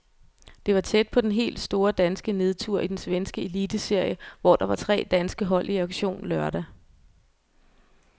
Det var tæt på den helt store danske nedtur i den svenske eliteserie, hvor der var tre danske hold i aktion lørdag.